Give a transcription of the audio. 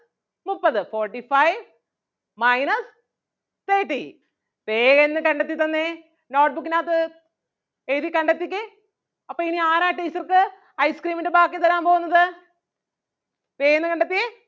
മുപ്പത് forty-five minus thirty വേഗന്ന് കണ്ടെത്തി തന്നെ note book നകത്ത് എഴുതി കണ്ടെത്തിക്കേ അപ്പൊ ഇനി ആരാ teacher ക്ക് ice cream ൻ്റെ ബാക്കി തരാൻ പോകുന്നത് വേഗന്ന് കണ്ടെത്തിയേ